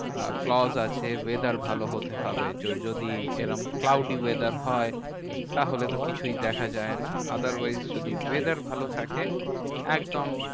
আহ clause আছে, weather ভালো হতে হবে, য~ যদি এরম cloudy weather হয়, তাহলে তো কিছুই দেখা যায় না। otherwise যদি weather ভালো থাকে একদম